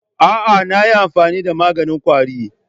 A'a, na yi amfani da maganin ƙwari.